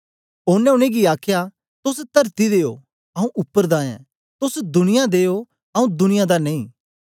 ओनें उनेंगी आखया तोस तरती दे ओ आऊँ उपर दा ऐं तोस दुनिया दे ओ आऊँ दुनिया दा नेई